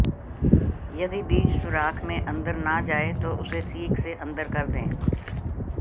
यदि बीज सुराख में अंदर न जाए तो उसे सीक से अंदर कर दें